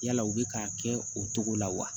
Yala u bɛ k'a kɛ o cogo la wa